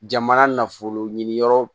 Jamana nafolo ɲini yɔrɔ